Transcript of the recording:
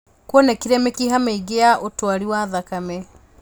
Kwonekire mĩkha mĩingĩ ya ũtwari wa thakame